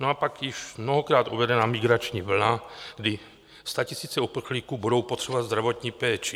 No a pak již mnohokrát uvedená migrační vlna, kdy statisíce uprchlíků budou potřebovat zdravotní péči.